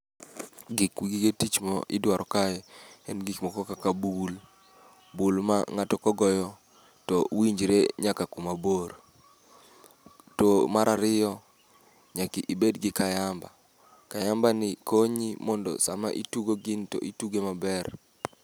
Giku gige tich ma idwaro kae, en gik moko kaka bul. Bul ma ng'ato kogoyo to winjre nyaka kuma bor. To marariyo, nyaki ibed gi kayamba. Kayamba ni konyi mondo sama itugo gini to itugo maber.